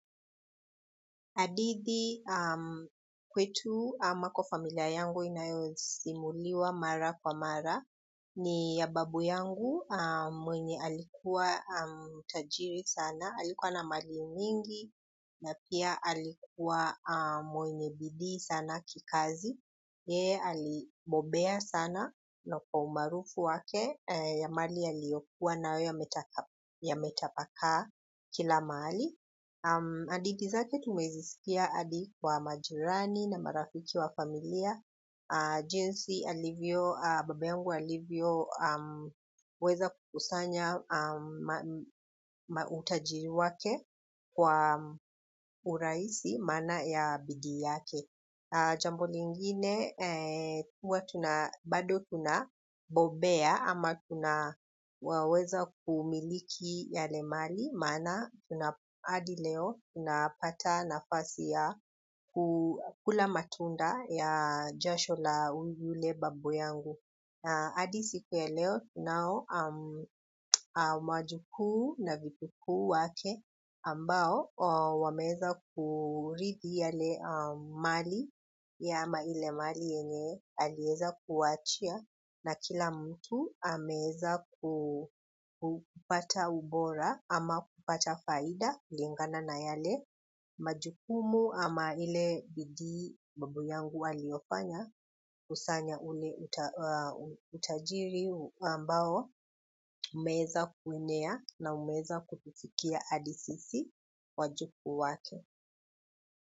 Hadithi kwetu ama kwa familia yangu inayosimuliwa mara kwa mara ni ya babu yangu mwenye alikuwa tajiri sana, alikuwa na mali nyingi na pia alikuwa mwenye bidii sana kikazi. Yeye alibobea sana na kwa umaarufu wake ya mali iliyokuwa nayametapakaa kila mahali. Hadithi zake tumezisikia hadi kwa majirani na marafiki wa familia jinsi baba yangu alivyoweza kukusanya utajiri wake kwa urahisi kwa maana ya bidii yake. Jambo lingine, bado tunabobea ama tuna waweza kumiliki yale mali, maana hadi leo tunapata nafasi ya kula matunda ya jasho la yule babu yangu. Hadi siku ya leo tunao wajukuu na vipukuu wake ambao wameweza kuridhi yale mali ama ile mali yenye aliweza kuacha na kila mtu ameweza kupata ubora ama kupata faida inayolingana na yale. Majukumu ama ile bidii babu yangu aliyofanga kukusanya ule utajiri ambao umeweza kuenea na umeweza kufikia hadi wajukuu wake.